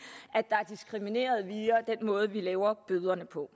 at måde vi laver bøderne på